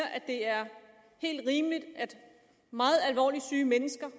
det er helt rimeligt at meget alvorligt syge mennesker